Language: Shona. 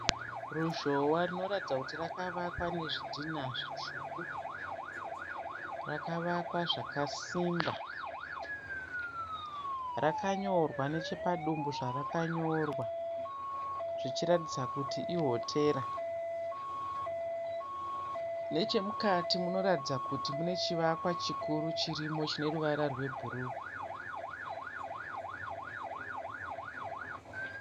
Ruzhowa rinoratidza kuti rakavakwa nezvidhinha zvitsvuku, rakavakwa zvakasimba. Rakanyorwa nechepadumbu zvarakanyorwa zvichiratidza kuti ihotera. Nechemukati munoratidza kuti munechivakwa chikuru chirimo chineruvara rwebhuruu.